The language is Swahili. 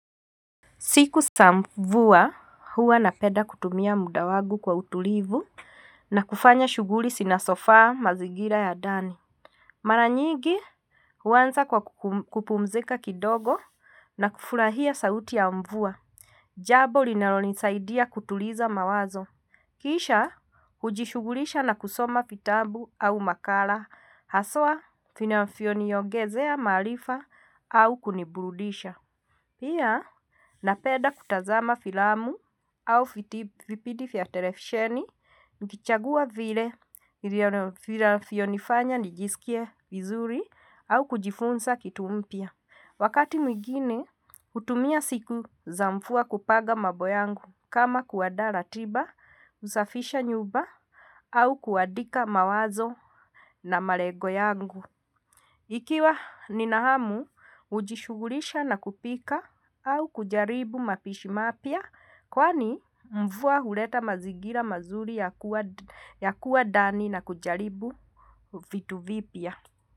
Siku za mvua huwa napenda kutumia muda wangu kwa utulivu na kufanya shughuli zinazofaa mazingira ya ndani. Mara nyigi huanza kwa kupumzika kidogo na kufurahia sauti ya mvua. Jambo linalonisaidia kutuliza mawazo. Kisha hujishugulisha na kusoma vitabu au makala haswa vinavyoniongezea maarifa au kuniburudisha. Pia, napenda kutazama filamu au vitipindi vya televisheni, nikichagua vile vinavyonifanya nijisikie vizuri au kujifunza kitu mpya. Wakati mwigine, hutumia siku za mvua kupanga mambo yangu kama kuandaa ratiba, kusafisha nyumba au kuandika mawazo na malengo yangu. Ikiwa nina hamu, hujishughulisha na kupika au kujaribu mapishi mapya kwani mvua huleta mazingira mazuri ya kuwa ndani na kujaribu vitu vipya.